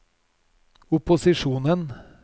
opposisjonen